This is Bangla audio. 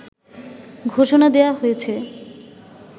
ঘোষণা দেয়া হয়েছে